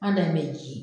An bɛ ji